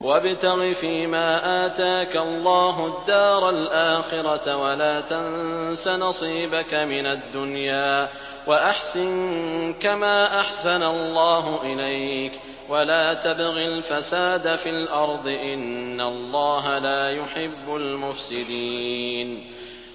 وَابْتَغِ فِيمَا آتَاكَ اللَّهُ الدَّارَ الْآخِرَةَ ۖ وَلَا تَنسَ نَصِيبَكَ مِنَ الدُّنْيَا ۖ وَأَحْسِن كَمَا أَحْسَنَ اللَّهُ إِلَيْكَ ۖ وَلَا تَبْغِ الْفَسَادَ فِي الْأَرْضِ ۖ إِنَّ اللَّهَ لَا يُحِبُّ الْمُفْسِدِينَ